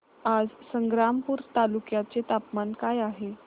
आज संग्रामपूर तालुक्या चे तापमान काय आहे